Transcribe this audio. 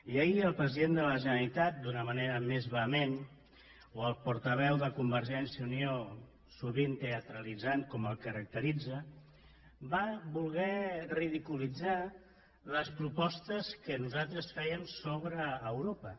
i ahir el president de la generalitat d’una manera més vehement o el portaveu de convergència i unió sovint teatralitzant com el caracteritza van voler ridiculitzar les propostes que nosaltres fèiem sobre europa